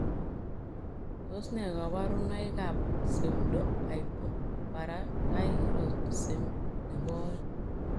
Tos nee kabarunoik ap Pseudohypoparathyroidism nepoo oeng?